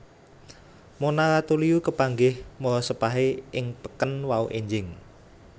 Mona Ratuliu kepanggih morosepahe ing peken wau enjing